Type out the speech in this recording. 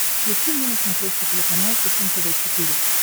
включи мне на смотрешке телеканал фэшен тв четыре к